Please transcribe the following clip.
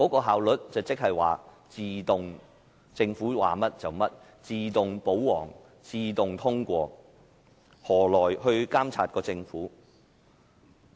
效率即是政府說甚麼便做甚麼，自動"保皇"、自動通過議案，這樣何來監察政府？